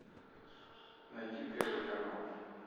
найди первый канал